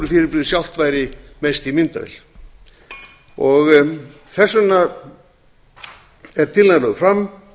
náttúrufyrirbrigðið sjálft væri mest í myndavél þess vegna er tillagan lögð fram